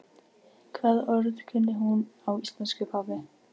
Hvaða orð kunni hún á íslensku, pabbi?